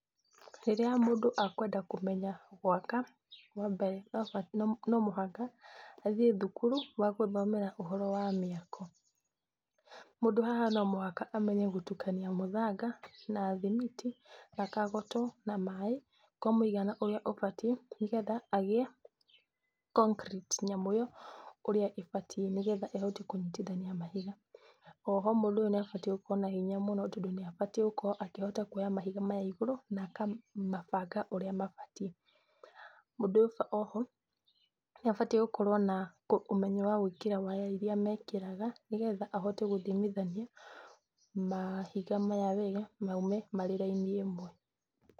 Rĩrĩa mũndũ ekwenda kũmenya gwaka, wambere, no ba no mũhaka athĩĩ thukuru wagũthomera ũhoro wa mĩako, mũndũ haha no mũhaka amenye gũtukania mũthanga na thimiti, na kagoto na maaĩ, kwa mwĩigana ũria ũbatie nĩgetha agĩ concrete yamo ĩyo ũrĩa ĩbatiĩ nĩgetha ĩhote kũnyitithania mahiga, oho mũndũ ũyũ nĩ abatĩĩ gũkorwo na hinya mũno tondũ nĩ abatĩĩ gukorwo akĩoya mahiga maya igũru, na akamabanga ũria mabatiĩ, mũndũ ũcio oho nĩ abatiĩ gũkorwo na ũmenyo wa gwĩkĩra waya iria mekĩraga nĩ getha ahote gũthimithania mahiga maya wega maime marĩ raini ĩmwe.